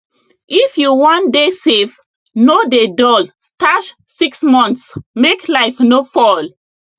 if you wan dey safe no dey dull stash six months make life no fall